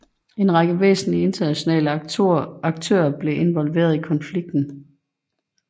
En række væsentlige internationale aktører er blevet involveret i konflikten